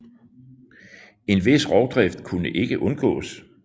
En vis rovdrift kunne ikke undgås